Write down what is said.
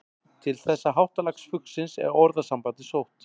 Til þessa háttalags fuglsins er orðasambandið sótt.